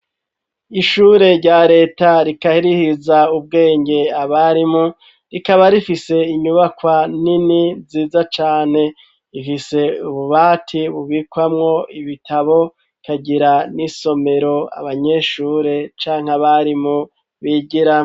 Ishure rya Leta rikahirihiza ubwenge abarimu ,rikaba rifise inyubakwa nini nziza cane ,ifise ububati bubikwamwo ibitabo ,ikagira n'isomero abanyeshure canke abarimu bigira.